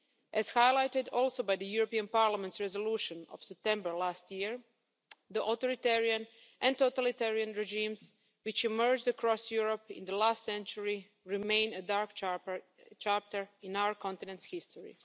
As highlighted also by the European Parliament's resolution of September last year, the authoritarian and totalitarian regimes which emerged across Europe in the last century remain a dark chapter in our continent's history.